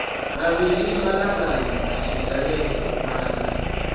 vhavhili mangalani na tshiḓereke mangalani